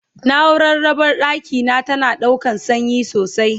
naurar raɓar ɗakina tana ɗaukan sanyi sosai